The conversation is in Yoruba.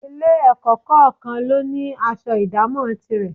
Ilé-ẹ̀kọ́ kọ̀ọ̀kan ló ní aṣọ ìdámọ̀ tirẹ̀